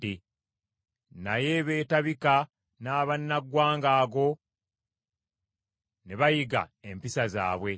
naye beetabika n’abannaggwanga ago ne bayiga empisa zaabwe.